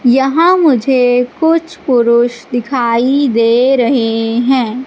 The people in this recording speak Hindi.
यहां मुझे कुछ पुरुष दिखाई दे रहे हैं।